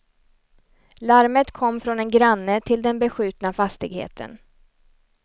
Larmet kom från en granne till den beskjutna fastigheten.